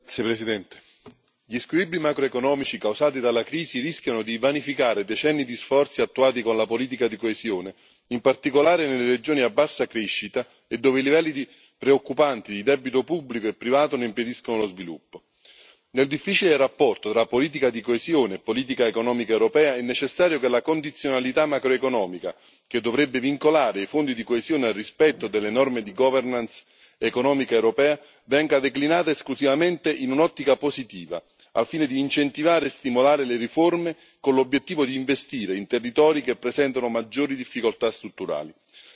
Signora Presidente, onorevoli colleghi, gli squilibri macroeconomici causati dalla crisi rischiano di vanificare decenni di sforzi attuati con la politica di coesione, in particolare nelle regioni a bassa crescita e dove i livelli preoccupanti di debito pubblico e privato ne impediscono lo sviluppo. Nel difficile rapporto tra politica di coesione e politica economica europea, è necessario che la condizionalità macroeconomica, che dovrebbe vincolare i fondi di coesione al rispetto delle norme di governance economica europea, venga declinata esclusivamente in un'ottica positiva, al fine di incentivare e stimolare le riforme, con l'obiettivo di investire in territori che presentano maggiori difficoltà strutturali.